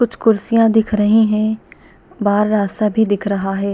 कुछ कुर्सियाँ दिख रहीं हैं बाहर रास्ता भी दिख रहा है।